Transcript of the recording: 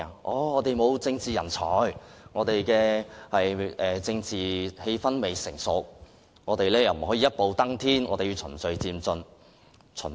他們說我們沒有政治人才，政治氣氛亦未成熟，不能一步登天，必須循序漸進。